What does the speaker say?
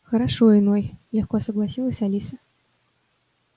хорошо иной легко согласилась алиса